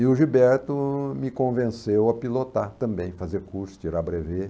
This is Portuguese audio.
E o Gilberto me convenceu a pilotar também, fazer curso, tirar brevê.